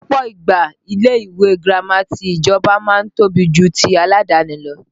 Lọ́pọ̀ ìgbà ilé ìwé girama ti ìjọba máa ń tóbi jù ti aládàáni lọ